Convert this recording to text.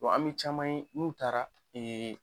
An mi caman ye n'u taara